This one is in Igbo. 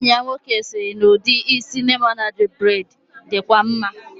Enyi ya nwoke siri na udi isi lemonade braid dikwa maa